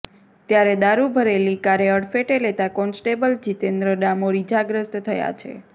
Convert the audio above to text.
ત્યારે દારૂ ભરેલી કારે અડફેટે લેતા કોન્સ્ટેબલ જિતેન્દ્ર ડામોર ઇજાગ્રસ્ત થયા છે